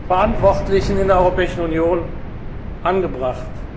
Verantwortliche in der Europäischen Union angebracht.